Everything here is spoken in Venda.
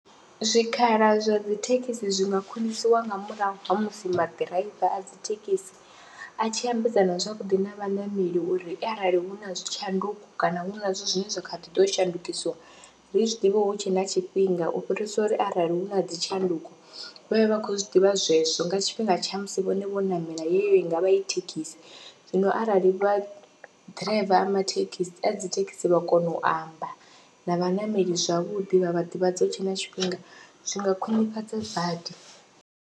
Zwikhala zwa dzi thekhisi zwi nga khwinisiwa nga murahu ha musi maḓiraiva a dzi thekisi a tshi ambedzana zwavhuḓi na vhaṋameli uri arali hu na tshanduko kana hu na zwithu zwine zwa kha ḓi ḓo shandukisiwa ri zwi ḓivhe hu tshe na tshifhinga u fhirisa uri arali hu na dzi tshanduko vha vhe vha khou zwi ḓivha zwezwo nga tshifhinga tsha musi vhone vho ṋamela yeyo i nga vha i thekhisi. Zwino arali vha ḓiraiva a mathekhisi a dzi thekhisi vha kona u amba na vhaṋameli zwavhuḓi vha vha ḓivhadza hu tshe na tshifhinga zwi nga khwinifhadza badi.